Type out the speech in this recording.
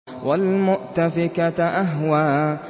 وَالْمُؤْتَفِكَةَ أَهْوَىٰ